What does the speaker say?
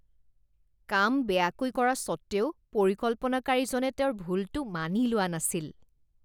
কাম বেয়াকৈ কৰা সত্বেও পৰিকল্পনাকাৰীজনে তেওঁৰ ভুলটো মানি লোৱা নাছিল